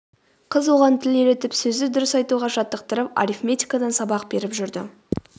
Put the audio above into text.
қыз оған тіл үйретіп сөзді дұрыс айтуға жаттықтырып арифметикадан сабақ беріп жүрді